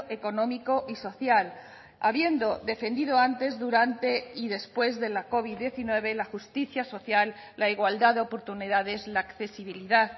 económico y social habiendo defendido antes durante y después de la covid diecinueve la justicia social la igualdad de oportunidades la accesibilidad